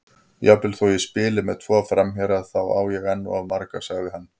Jafnvel þó ég spili með tvo framherja, þá á ég enn of marga, sagði hann.